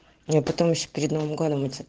мне потом ещё перед новым годом мыться